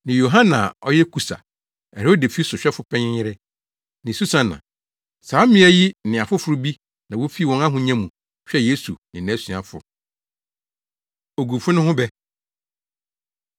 ne Yohana a ɔyɛ Kusa, Herode fi sohwɛfo panyin yere, ne Susana. Saa mmea yi ne afoforo bi na wofi wɔn ahonya mu hwɛɛ Yesu ne nʼasuafo. Ogufo No Ho Bɛ